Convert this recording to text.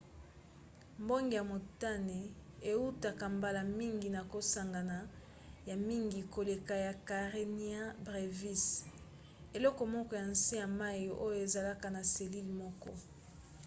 mbonge ya motane eutaka mbala mingi na kosangana ya mingi koleka ya karenia brevis eloko moko ya nse ya mai oyo ezalaka na selile moko